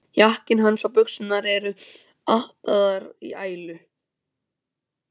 Jakkinn hans og buxurnar eru ataðar í ælu.